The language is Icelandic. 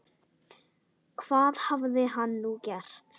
Hvað hafði hann nú gert?